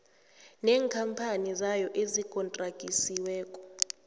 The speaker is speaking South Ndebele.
neenkhamphani zayo ezigontragisiweko